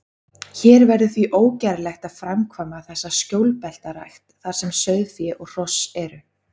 Hér verður því ógerlegt að framkvæma þessa skjólbeltarækt, þar sem sauðfé og hross eru.